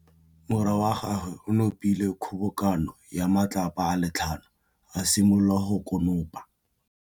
Morwa wa gagwe o nopile kgobokanô ya matlapa a le tlhano, a simolola go konopa.